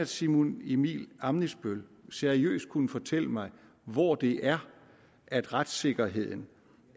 simon emil ammitzbøll seriøst kunne fortælle mig hvor det er at retssikkerheden